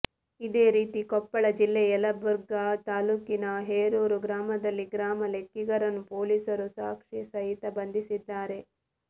ಇದೇ ರೀತಿ ಕೊಪ್ಪಳ ಜಿಲ್ಲೆಯ ಎಲಬುರ್ಗಾ ತಾಲ್ಲೂಕಿನ ಹೇರೂರು ಗ್ರಾಮದಲ್ಲಿ ಗ್ರಾಮ ಲೆಕ್ಕಿಗರನ್ನು ಪೊಲೀಸರು ಸಾಕ್ಷಿ ಸಹಿತ ಬಂಧಿಸಿದ್ದಾರೆ